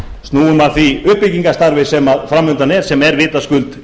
snúum að því uppbyggingarstarfi sem fram undan er sem er vitaskuld